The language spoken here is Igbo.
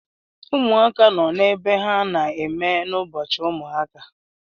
Ụmụaka nọ n’ebe ha na-eme n'Ubọchiụmụaka